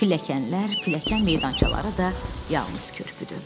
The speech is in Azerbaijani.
Pilləkənlər, pilləkən meydançaları da yalnız körpüdür.